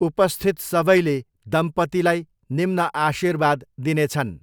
उपस्थित सबैले दम्पतीलाई निम्न आशीर्वाद दिनेछन्।